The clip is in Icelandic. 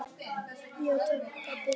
Sindri: Stendur það til?